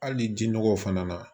Hali ni jinnɔgɔw fana na